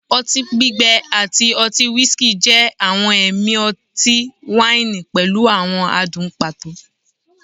oti gbigbẹ ati ọti whiskey jẹ awọn ẹmi ọti-waini pẹlu awọn adun pato